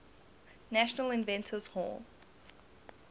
national inventors hall